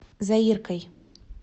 заиркой